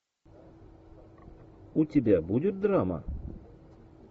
у тебя будет драма